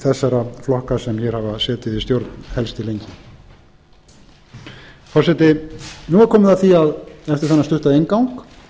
þessara flokka sem hér hafa setið við stjórn helst til lengi forseti nú er komið að því eftir þennan stutta